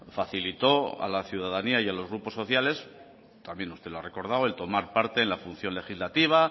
facilitó a la ciudadanía y a los grupo sociales también usted lo ha recordado el tomar parte en la función legislativa